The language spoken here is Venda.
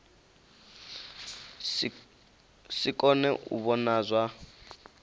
si kone u vhona zwa